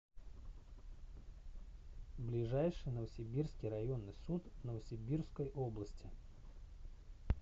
ближайший новосибирский районный суд новосибирской области